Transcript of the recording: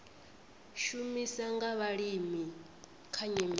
shumiswa nga vhalimi kha nyimele